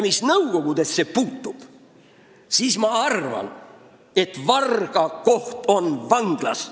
Mis Nõukogude Liitu puutub, siis ma arvan, et varga koht on vanglas.